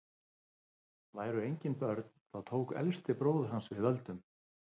væru engin börn þá tók elsti bróðir hans við völdum